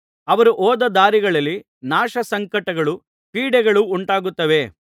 ಅವರು ಹೋದ ದಾರಿಗಳಲ್ಲಿ ನಾಶಸಂಕಟಗಳು ಪೀಡೆಗಳು ಉಂಟಾಗುತ್ತವೆ